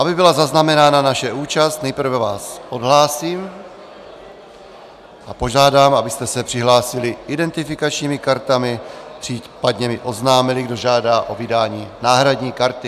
Aby byla zaznamenána naše účast, nejprve vás odhlásím a požádám, abyste se přihlásili identifikačními kartami a případně mi oznámili, kdo žádá o vydání náhradní karty.